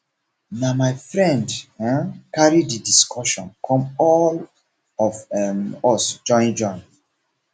na my friend um] carry di discussion come all of um us join join